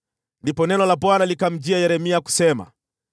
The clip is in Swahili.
Ndipo neno la Bwana likamjia Yeremia kusema: